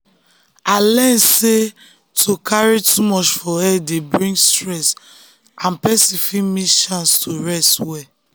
i learn sey to carry too much for head dey bring stress and person fit miss chance to rest well.